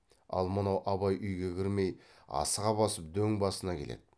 ал мынау абай үйге кірмей асыға басып дөң басына келеді